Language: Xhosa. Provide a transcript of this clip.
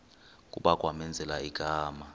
kuba kwamenzela igama